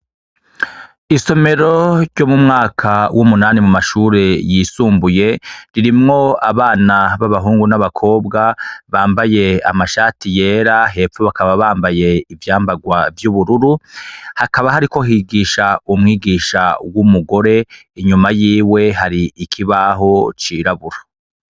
Isomero ryo mu mwaka w'umunani mu mashure yisumbuye ririmwo abana b'abahungu n'abakobwa bambaye amashati yera, hepfo bakaba bambaye ivyambagwa vy'ubururu, hakaba hariko higisha umwigisha w'umugore inyuma yiwe hari ikibaho cirabura.